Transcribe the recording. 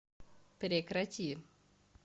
прекрати